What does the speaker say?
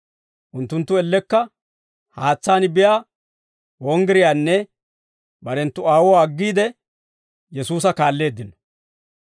Unttunttu ellekka haatsaan biyaa wonggiriyaanne barenttu aawuwaa aggiide, Yesuusa kaalleeddino.